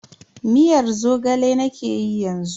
Miyar Zogale nakeyi yanzu.